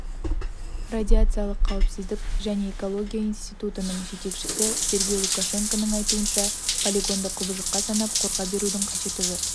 радиациялық қауіпсіздік және экология институтының жетекшісі сергей лукашенконың айтуынша полигонды құбыжыққа санап қорқа берудің қажеті жоқ